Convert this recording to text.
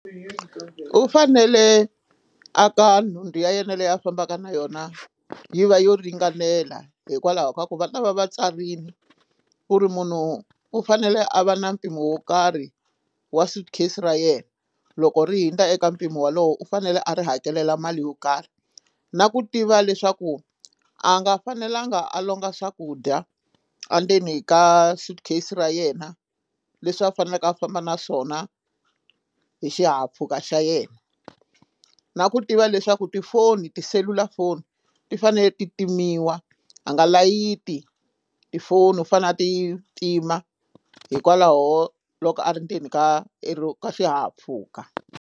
U fanele a ka nhundzu ya yena leyi a fambaka na yona yi va yo ringanela hikwalaho ka ku va ta va va tsarile ku ri munhu u fanele a va na mpimo wo karhi wa suitcase ra yena loko ri hundza eka mpimo wolowo u fanele a ri hakelela mali yo karhi na ku tiva leswaku a nga fanelanga a longa swakudya endzeni ka suitcase ra yena leswi a faneleke a famba na swona hi xihahampfhuka xa yena na ku tiva leswaku tifoni tiselulafoni ti fanele ti timiwa a nga layiti tifoni u fanele a ti pima hikwalaho loko a ri ndzeni ka xihahampfhuka.